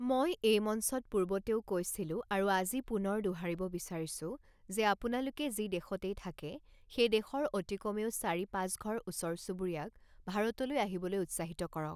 মই এই মঞ্চত পূৰ্বতেও কৈছিলো আৰু আজি পুনৰ দোহাৰিব বিচাৰিছো যে আপোনালোকে যি দেশতেই থাকে, সেই দেশৰ অতি কমেও চাৰি পাঁচঘৰ ওচৰ চুবুৰীয়াক ভাৰতলৈ আহিবলৈ উৎসাহিত কৰক।